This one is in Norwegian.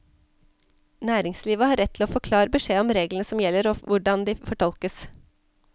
Næringslivet har rett til å få klar beskjed om reglene som gjelder og hvordan de fortolkes.